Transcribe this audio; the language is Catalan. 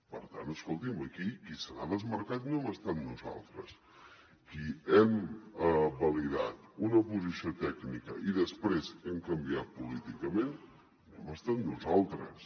per tant escolti’m aquí qui se n’ha desmarcat no hem estat nosaltres qui ha validat una posició tècnica i després ha canviat políticament no hem estat nosaltres